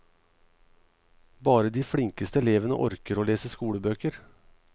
Bare de flinkeste elevene orker å lese skolebøker.